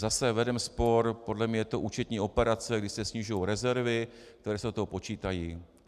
Zase vedeme spor, podle mě je to účetní operace, kdy se snižují rezervy, které se do toho počítají.